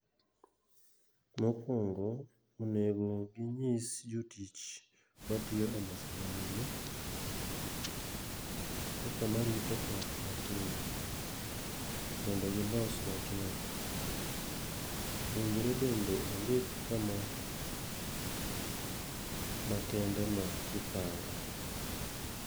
Mokwongo onego ginyis jotich matiyo e mesa ma nyime, kaka marito ot ma piyo. Mondo gilos wachno. Owinjore bende ondik kama ma kende ma giparo.